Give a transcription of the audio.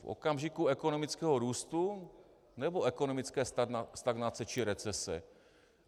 V okamžiku ekonomického růstu, nebo ekonomické stagnace či recese?